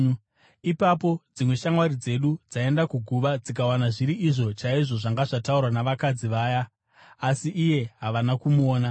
Ipapo dzimwe shamwari dzedu dzaenda kuguva dzikawana zviri izvo chaizvo zvanga zvataurwa navakadzi vaya, asi iye havana kumuona.”